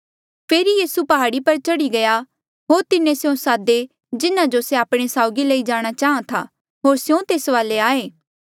फेरी यीसू प्हाड़ा पर चढ़ी गया होर तिन्हें स्यों सादे जिन्हा जो से आपणे साउगी लई जाणा चाहां था होर स्यों तेस वाले आये